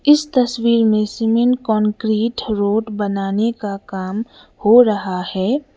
इस तस्वीर में सीमेंट कांक्रीट रोड बनाने का काम हो रहा है।